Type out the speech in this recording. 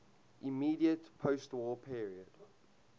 immediate postwar period